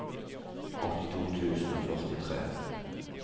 åttito tusen og førtitre